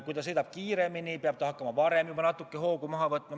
Kui ta sõidab kiiremini, peab ta hakkama juba varem hoogu maha võtma.